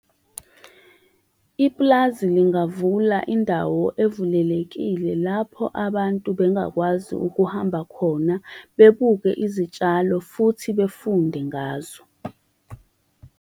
Ipulazi lingavula indawo evulelekile, lapho abantu bengakwazi ukuhamba khona, bebuke izitshalo, futhi befunde ngazo.